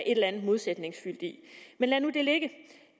et eller andet modsætningsfyldt i men lad nu det ligge